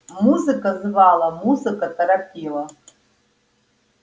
музыка звала музыка торопила